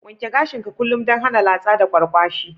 Wanke gashin ka kullum dan hana latsa da kwarkwashi.